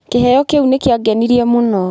Kĩheo kĩu nĩ kĩangenirie mũno.